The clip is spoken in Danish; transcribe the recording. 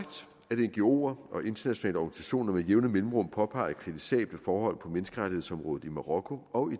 ngoer og internationale organisationer med jævne mellemrum påpeger kritisable forhold på menneskerettighedsområdet i marokko og